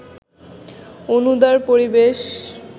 অনুদার পরিবেশ